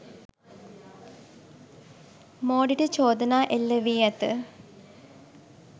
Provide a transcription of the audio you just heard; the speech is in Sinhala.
මෝඩිට චෝදනා එල්ල වී ඇත.